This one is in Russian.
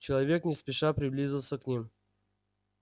человек не спеша приблизился к ним